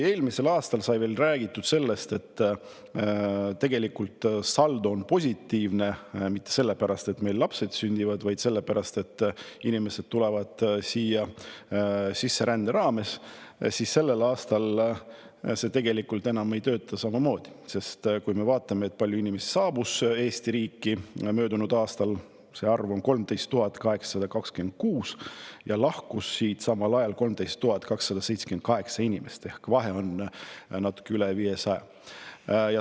Eelmisel aastal sai veel räägitud sellest, et tegelikult saldo ei ole positiivne mitte sellepärast, et meil lapsed sünnivad, vaid sellepärast, et sisserände teel tuleb siia inimesi juurde, siis sellel aastal see tegelikult enam niimoodi ei käi, sest inimesi saabus Eesti riiki möödunud aastal 13 826 ja siit lahkus samal ajal 13 278 inimest ehk vahe on natuke üle 500.